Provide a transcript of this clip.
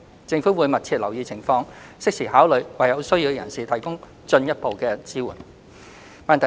政府會密切留意情況，適時考慮為有需要的人士提供進一步的支援。